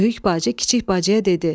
Böyük bacı kiçik bacıya dedi: